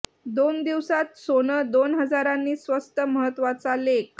दोन दिवसात सोनं दोन हजारांनी स्वस्त महत्तवाचा लेख